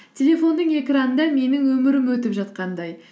телефонның экранында менің өмірім өтіп жатқандай